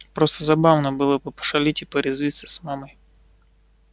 просто забавно было бы пошалить и порезвиться с мамой